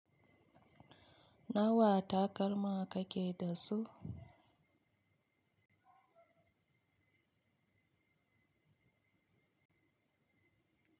Nawa takalma kake da su?